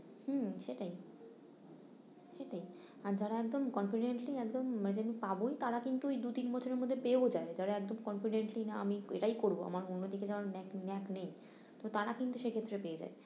হম সেটাই সেটাই আর যারা একদম confidently একদম আমি পাবোই তারা কিন্তু ওই দু তিন বছরের মধ্যে পেয়েও যায়, যারা একদম confidently না আমি এটাই করবো আমার অন্যদিকে যাবার ন্যেক ন্যেক নেই তো তারা কিন্তু সে ক্ষেত্রে পেয়ে যায়